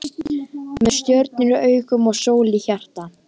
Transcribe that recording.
Með stjörnur í augum og sól í hjarta.